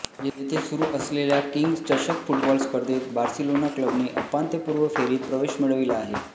येथे सुरू असलेल्या किंग्ज चषक फुटबॉल स्पर्धेत बार्सिलोना क्लबने उपांत्यपूर्व फेरीत प्रवेश मिळविला आहे